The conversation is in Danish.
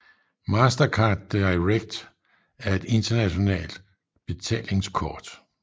Mastercard Direct er et internationalt betalingskort